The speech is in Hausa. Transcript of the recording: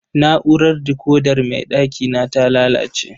Na'urar dikokar mai ɗakina ta lalace.